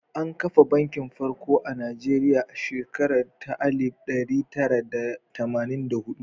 An ka kafa Banki Farko na Najeriya a shekara ta alif ɗari tara da tamanin da huɗu.